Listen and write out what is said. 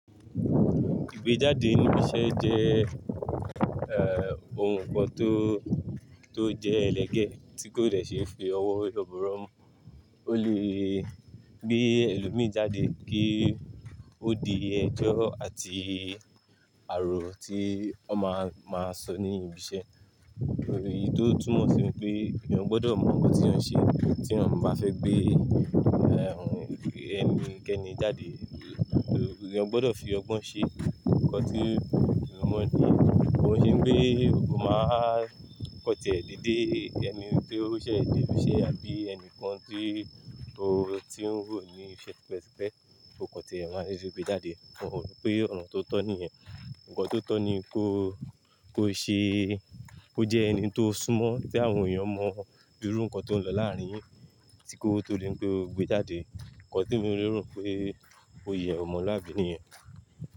Ìgbéjáde ní ibiṣẹ́ jẹ́, eh, ohun kan tó, tó jẹ́ ẹlẹgẹ́ tí kò dẹ̀ ṣe fi ọwọ́ yọbọ̀rọ̀ mú. Ó lè gbé ẹlòmíràn jáde kí ó di ẹjọ́ àti àrò tí ó má, máa sọ ní ibiṣẹ́. Èyí tó túmọ̀ sí wipé èèyàn gbọdọ̀ mọ nǹkan tí èèyàn n ṣe tí èèyàn bá fẹ́ gbé, eh, ẹni kẹni jáde. Èèyàn gbọdọ̀ fi ọgbọ́n ṣe nǹkan tí ẹmi mọ̀ ní. Ko n ṣe pé ó máa kan tìẹ́ dẹ̀dé ẹni tí ó ṣẹ̀ n dẹ ibiṣẹ́ àbí ẹni kan tí ó ti ń wò ní iṣẹ́ tipẹ́tipẹ́. O kan tí ẹ máa dedè gbé jáde. N o ro pé ọ̀nà tó tọ́ ní yẹ. Ǹkan tó tọ́ ní kó, kó ṣe, kó jẹ́ ẹni tó súnmọ́ tí àwọn èèyàn mọ̀ bíi irú nǹkan tó ń lọ láàárín yín tí kó tó di n pé ó gbé jáde. Ǹkan temí léro pé ó yẹ̀ ẹ́ omọ̀luábi niyẹn.